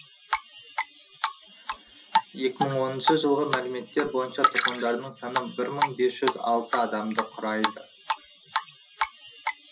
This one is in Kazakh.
екі мың оныншы жылғы мәліметтер бойынша тұрғындарының саны бір мың бес жүз алты адамды құрайды